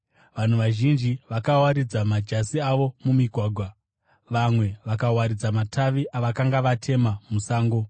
Vanhu vazhinji vakawaridza majasi avo mumigwagwa, vamwe vakawaridza matavi avakanga vatema musango.